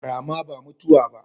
Rama ba mutuwa ba